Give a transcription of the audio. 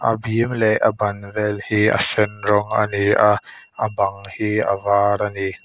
a bim leh a ban vel hi a sen rawng ani a a bang hi a var ani.